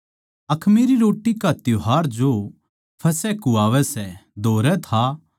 अखमीरी रोट्टी का त्यौहार जो फसह कहवावै सै धोरै था